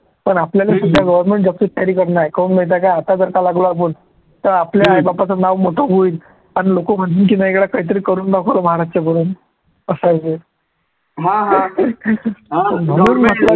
पण आपल्याले सुद्धा government job चीच तयारी करणे आहे, काहून माहिती आहे काय आता जर का लागलो आपण तर आपल्या आई बापचं नाव मोठं होईल, आणि लोकं म्हणतील की नाही गड्या काही तरी करून दाखवलं च्या पोराने असं आहे ते म्हणून म्हंटलं की